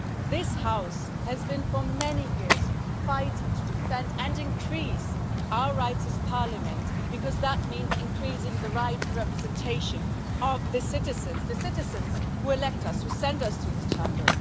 This House has been for many years fighting to defend and increase our rights as Parliament, because that means increasing the rights and representation of the citizens, the citizens who elect us, who send us to this Chamber.